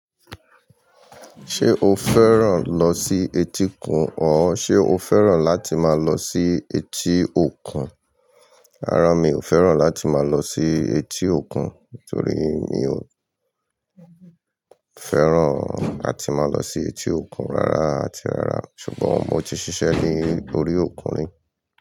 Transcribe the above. Ṣé o fẹ́ràn lọ sí etíkun? Or ṣe o fẹ́ràn láti máa lọ sí etí òkun? Rárá mi ò fẹ́ràn láti máa lọ sí etí òkun, torí mi ò fẹ́ràn àti máa lọ sí etí òkun rárá àti rárá. Ṣùgbọ́n mo ti ṣiṣẹ́ ní orí òkun ni.